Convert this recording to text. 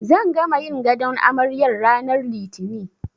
Zan gama yin gadon amaryar ranar Litini.